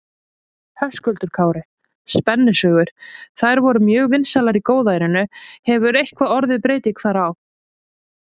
Höskuldur Kári: Spennusögur, þær voru mjög vinsælar í góðærinu, hefur eitthvað orðið breyting þar á?